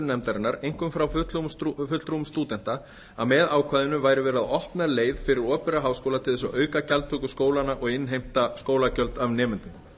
nefndarinnar einkum frá fulltrúum stúdenta að með ákvæðinu væri verið að opna leið fyrir opinbera háskóla til að auka gjaldtöku skólanna og innheimta skólagjöld af nemendum